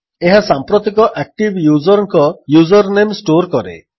ଏହା ସାମ୍ପ୍ରତିକ ଆକ୍ଟିଭ୍ ଯୁଜର୍ଙ୍କ ଯୁଜର୍ନେମ୍ ଷ୍ଟୋର୍ କରେ